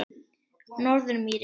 Norðurmýri